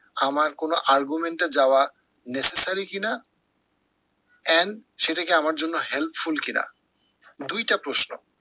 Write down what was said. আমার কোনো argument এ যাওয়া necessary কি না and সেটা কি আমার জন্য helpful কিনা দুইটা প্রশ্ন।